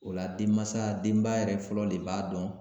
O la denmansa denba yɛrɛ fɔlɔ le b'a dɔn